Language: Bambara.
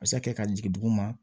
A bɛ se ka kɛ ka jigin duguma